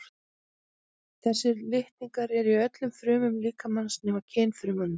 þessir litningar eru í öllum frumum líkamans nema kynfrumunum